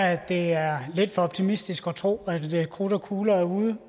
at det er lidt for optimistisk at tro at krudt og kugler er ude